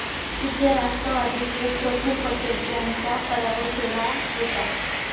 तिथे राष्ट्रवादीचे प्रफुल्ल पटेल यांचा पराभव केला होता.